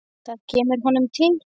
Það kemur honum til.